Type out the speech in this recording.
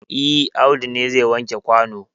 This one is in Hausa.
E, Audu ne zai wanke kwano.